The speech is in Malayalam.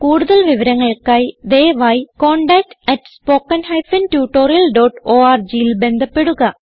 കുടുതൽ വിവരങ്ങൾക്കായി ദയവായി contactspoken tutorialorgൽ ബന്ധപ്പെടുക